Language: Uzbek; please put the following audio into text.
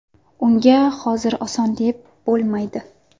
Unga hozir oson deb bo‘lmaydi.